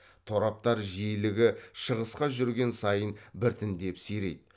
тораптар жиілігі шығысқа жүрген сайын біртіндеп сирейді